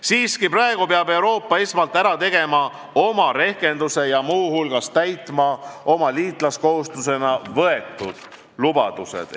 Siiski, praegu peab Euroopa esmalt ära tegema oma rehkenduse ja muu hulgas täitma oma liitlaskohustusena võetud lubadused.